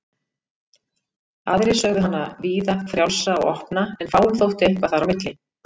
Aðrir sögðu hana víða, frjálsa og opna en fáum þótti eitthvað þar á milli.